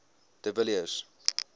de villiers